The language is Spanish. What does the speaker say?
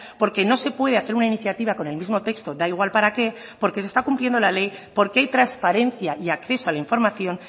porque no se puede hacer una iniciativa con el mismo texto da igual para qué porque se está cumpliendo la ley porque hay transparencia y acceso a la información